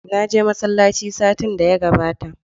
Na je masallaci satin da ya gabata.